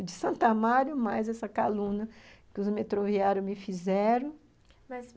O de Santo Amaro, mais essa calúnia que os metroviários me fizeram. Mas,